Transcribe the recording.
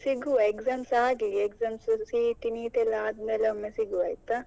ಸಿಗ್ವ exams ಆಗ್ಲಿ exams CET NEET ಎಲ್ಲಾ ಆದ್ಮೇಲೆ ಸಿಗ್ವ ಆಯ್ತಾ.